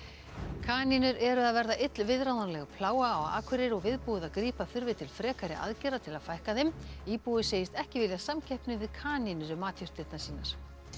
kanínur eru að verða illviðráðanleg plága á Akureyri og viðbúið að grípa þurfi til frekari aðgerða til að fækka þeim íbúi segist ekki vilja samkeppni við kanínur um matjurtirnar sínar